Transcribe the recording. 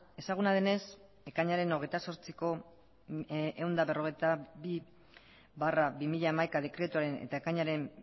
ezaguna denez ekainaren hogeita zortziko ehun eta berrogeita bi barra bi mila hamaika dekretuaren eta ekainaren